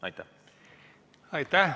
Aitäh!